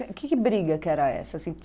O que que briga que era essa assim?